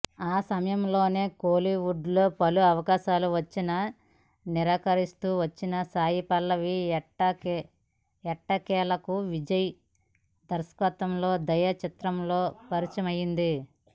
ఆ సమయంలోనే కోలీవుడ్లో పలు అవకాశాలు వచ్చినా నిరాకరిస్తూ వచ్చిన సాయిపల్లవి ఎట్టకేలకు విజయ్ దర్శకత్వంలో దయా చిత్రంతో పరిచయమైంది